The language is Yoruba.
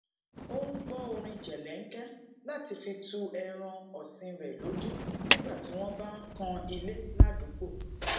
o n gbọ orin jelenke láti fi tu ẹran òsìn rè lójú nígbà tí wón bá ń kan ilé ládùúgbò